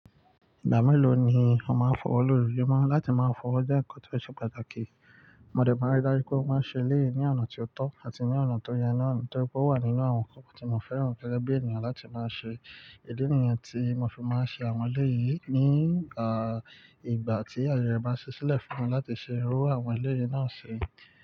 Ìgbà mélòó ni o máa ń fọwọ́ lóru, ojumo láti máa fọwọ́ jẹ́ ǹkan tó ṣe pàtàkì. Mọdé máa ń rí dá ju pé mọ́ máa ń ṣe eleyi ní ọ̀nà tí ó tọ́ àti ní ọ̀nà tó yẹ náà, torí pé ó wà nínú àwọn ǹkan tí mo fẹ́ràn gẹ́gẹ́ bí ènìyàn láti máa ṣe. Ìdí nìyẹn tí mo fi máa ń ṣe àwọn ilé yìí ní ìgbà tí ayẹ ẹ bá ṣẹ́ṣẹ́ lẹ̀ fún mi láti ṣe irú àwọn ilé yìí náà ṣe.